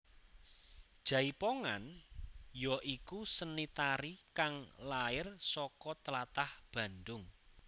Jaipongan ya iku seni tari kang lair saka tlatah Bandung